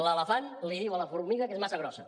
l’elefant li diu a la formiga que és massa grossa